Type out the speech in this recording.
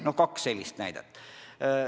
No sellised kaks näidet.